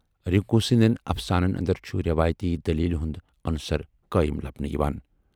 رِنکو سٕندٮ۪ن افسانَن اندر چھُ روایتی دٔلیلہِ ہُند عنصر قٲیِم لبنہٕ یِوان۔